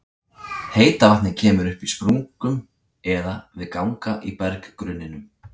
Heita vatnið kemur upp í sprungum eða við ganga í berggrunninum.